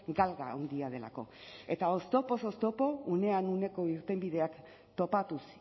galga handia delako eta oztopoz oztopo unean uneko irtenbideak topatuz